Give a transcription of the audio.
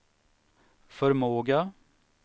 förmåga